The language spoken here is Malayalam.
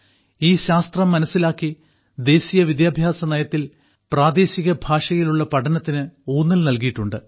ഈ ശാസ്ത്രം മനസ്സിലാക്കി ദേശീയ വിദ്യാഭ്യാസനയത്തിൽ പ്രാദേശിക ഭാഷയിലുള്ള പഠനത്തിന് ഊന്നൽ നൽകിയിട്ടുണ്ട്